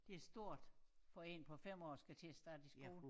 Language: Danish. Det stort for en på 5 år at skulle starte i skole